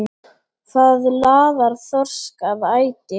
Hvað laðar þorsk að æti?